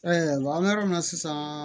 an bɛ yɔrɔ min na sisan